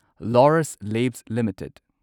Laurus Labs limited